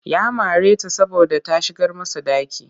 Ya mare ta saboda ta shigar masa ɗaki